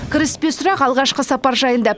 кіріспе сұрақ алғашқы сапар жайында